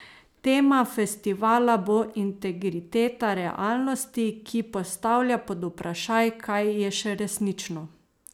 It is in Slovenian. Tema festivala bo integriteta realnosti, ki postavlja pod vprašaj, kaj je še resnično.